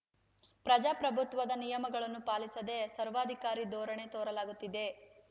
ಪ್ರಜಾಪ್ರಭುತ್ವದ ನಿಯಮಗಳನ್ನು ಪಾಲಿಸದೇ ಸರ್ವಾಧಿಕಾರಿ ಧೋರಣೆ ತೋರಲಾಗುತ್ತಿದೆ